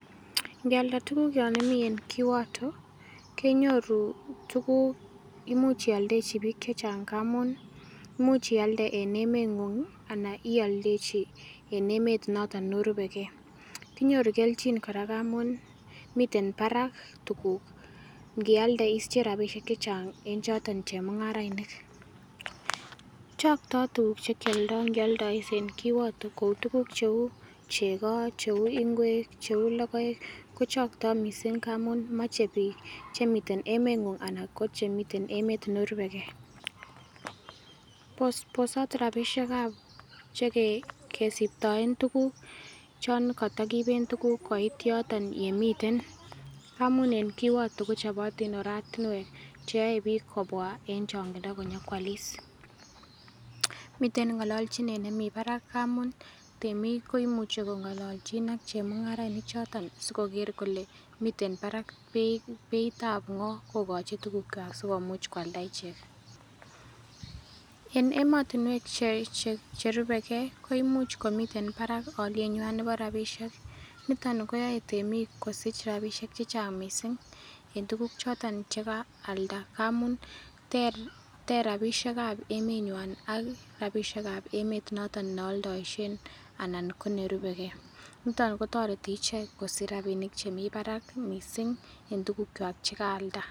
Nkialda tuguk Yoon imi en kiwoto kenyoru tuguk imuch ialde bik chechang ngamun imuch ialde en emengungi ana ialdechi en emet notok neorubekee kinyoru kelchin kora ngamun miten Barak tuguk nkialde isiche rapishek chechang en chotok chemungarainik chokto tuguk chekioldo ngioldois en kiwoto kou tuguk cheu chego cheu ngwek cheu logoek kochokto mising ngamun moche biik chemiten emengung ana ko chemiten emet neorubekee bosot rapishekab chekesiptoen tuguk choon kotokipen tuguk koit yotoni yemiten amun en kiwoto kochopotin oratinwek cheyoe biik kobwa en chingindo kinyokwolis miten ng'onlolchinet nemiten barak ngamun temik komuche kong'ololchin ak chemungarainik choton sikoker kole miten beitab ngo kokochi tugukwak sikomuch koalda ichek en emontinwek che che cherubekee koimuch komiten barak olienywannebo rapishek nitoni koyoe temik kosich rapishek chechang mising en tuguk choton chekaalda amun ter rapishekab emenywan ak rapishekab emet neoldoishen ana konerubekeenitok kotoreti ichek kosich rapishek chemiten Barak mising en tugukwak chekaalda